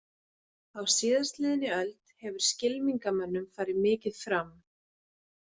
Á síðastliðinni öld hefur skylmingamönnum farið mikið fram.